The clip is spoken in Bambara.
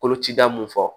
Kolocida mun fɔ